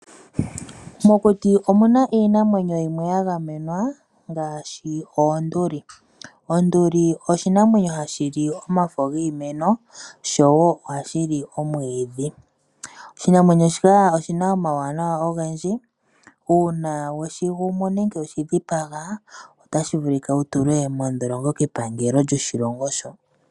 Mokuti omuna iinamwenyo yimwe yagamenwa ngaashi oonduli. Onduli oshinamwenyo hashi li omafo giimeno sho wo ohashi li omwiidhi. Oshinamwenyo shika oshina omawuwanawa ogendji. Uuna weshigumu nenge weshidhipaga otashi vulika wutulwe modholongo kepangelo lyoshilongo shoka.